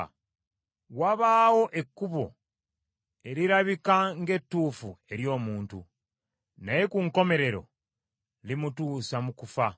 Wabaawo ekkubo erirabika ng’ettuufu eri omuntu, naye ku nkomerero limutuusa mu kufa.